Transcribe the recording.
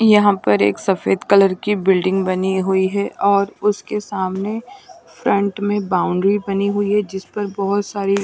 यहाँ पर एक सफेद कलर की बिल्डिंग बनी हुई है और उसके सामने फ्रंट में बाउंड्री बनी हुई है जिस पर बहुत--